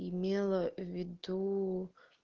имела в виду